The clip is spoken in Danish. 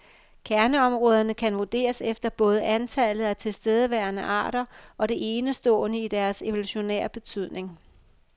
Kerneområderne kan vurderes efter både antallet af tilstedeværende arter, og det enestående i deres evolutionære betydning.